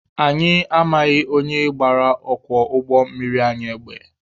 Anyi amaghị onye gbara ọkwọ ụgbọ mmiri anyị egbe.